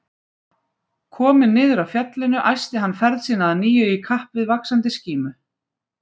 Kominn niður af fjallinu æsti hann ferð sína að nýju í kapp við vaxandi skímu.